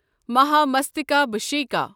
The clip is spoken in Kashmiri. مہامستکابھشیکا